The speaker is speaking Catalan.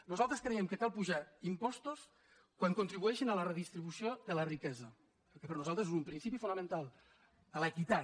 nosaltres creiem que cal apujar impostos quan contribueixen a la redistribució de la riquesa perquè per nosaltres és un principi fonamental a l’equitat